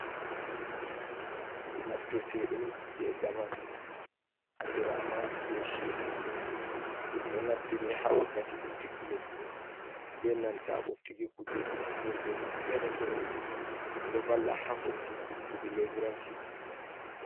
naftirte dum je zamanu, andirama be shebur ,dum do naftiri ha wakkati boftuki leddi ,be nanta boftuki kujeji noldeji fere-fere ,do valla ha hoitinki kude leburanci.